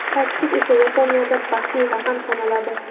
Sakkiz esa Yaponiyada baxtli raqam sanaladi.